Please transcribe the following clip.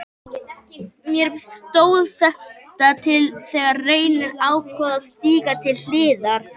Mér stóð þetta til boða þegar Reynir ákvað að stíga til hliðar.